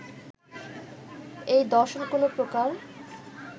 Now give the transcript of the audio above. এই দর্শন কোনো প্রকার